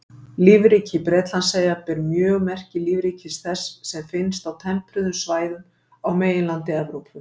Lífríki Bretlandseyja ber mjög merki lífríkis þess sem finnst á tempruðum svæðum á meginlandi Evrópu.